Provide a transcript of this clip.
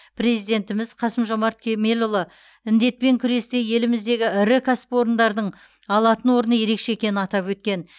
президентіміз қасым жомарт кемелұлы індетпен күресте еліміздегі ірі кәсіпорындардың алатын орны ерекше екенін атап өткен